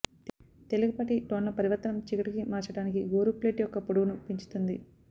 తేలికపాటి టోన్ల పరివర్తనం చీకటికి మార్చడానికి గోరు ప్లేట్ యొక్క పొడవును పెంచుతుంది